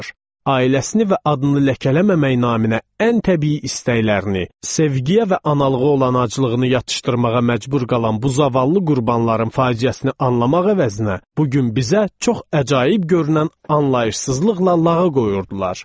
Ailəsini və adını ləkələməmək naminə ən təbii istəklərini, sevgiyə və analığa olan aclığını yatırmağa məcbur qalan bu zavallı qurbanların faciəsini anlamaq əvəzinə, bu gün bizə çox əcaib görünən anlayışsızlıqla lağa qoyurdular.